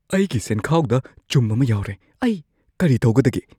ꯑꯩꯒꯤ ꯁꯦꯟꯈꯥꯎꯗ ꯆꯨꯝ ꯑꯃ ꯌꯥꯎꯔꯦ꯫ ꯑꯩ ꯀꯔꯤ ꯇꯧꯒꯗꯒꯦ?